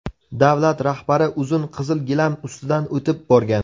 Davlat rahbari uzun qizil gilam ustidan o‘tib borgan.